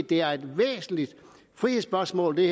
det her er et væsentligt frihedsspørgsmål